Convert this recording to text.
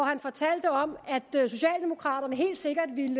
han fortalte om at socialdemokraterne helt sikkert ville